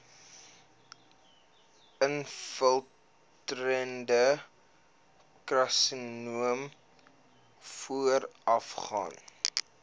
infiltrerende karsinoom voorafgaan